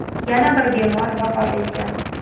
Yana bir bemor vafot etgan.